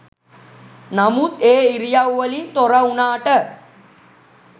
නමුත් ඒ ඉරියව් වලින් තොර වුණාට